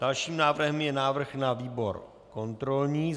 Dalším návrhem je návrh na výbor kontrolní.